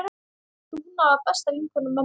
Dúna var besta vinkona mömmu.